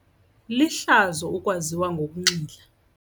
Lihlazo ukwaziwa ngokunxila.